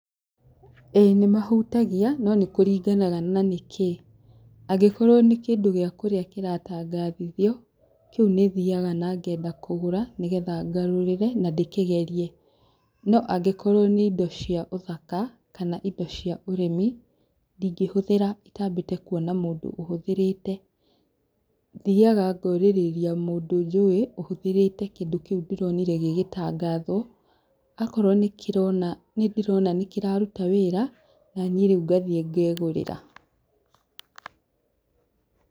Ĩĩ, nĩmahutagia no nĩkuringanaga na nĩ kĩĩ. Angĩkorwo nĩ kĩndũ gĩa kũrĩa kĩratangathithio, kĩu nĩ thiaga na ngenda kũgũra nĩgetha ngarũrĩre na ndĩkĩgerie. No angĩkorwo nĩ indo cia ũthaka, kana indo cia ũrĩmi, ndingĩhũthĩra itaambĩte kuona mũndũ ũhuthĩrĩte. Thiaga ngaũrĩrĩa mũndũ njũĩ, ũhũthĩrĩte kĩndũ kĩu ndĩronire gĩgĩtangathwo. Akorwo nĩndĩrona nĩ kĩrarũta wĩra, na niĩ rĩu ngathie ngeegũrĩra.